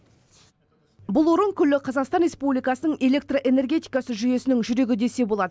бұл орын күллі қазақстан республикасының электр энергетикасы жүйесінің жүрегі десе болады